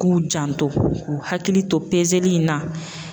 K'u janto, k'u hakili to peseli in na.